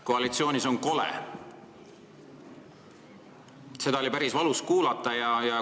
Koalitsioonis on kole – seda oli päris valus kuulata.